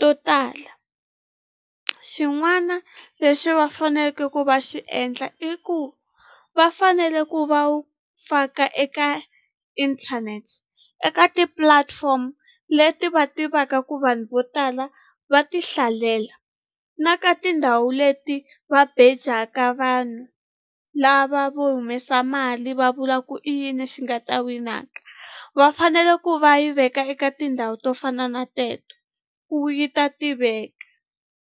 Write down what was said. to tala xin'wana lexi va faneke ku va xi endla i ku va fanele ku va wu faka eka inthanete eka ti-platform leti va tivaka ku vanhu vo tala va ti hlalela na ka tindhawu leti va bejaka vanhu lava vo humesa mali va vula ku i yini xi nga ta winaka va fanele ku va yi veka eka tindhawu to fana na teto ku yi ta tiveka.